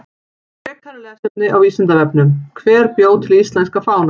Frekara lesefni á Vísindavefnum: Hver bjó til íslenska fánann?